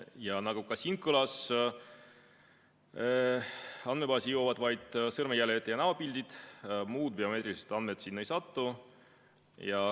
Ja nagu siin ka kõlas, siis andmebaasi jõuavad vaid sõrmejäljed ja näopildid, muud biomeetrilised andmed sinna ei satu.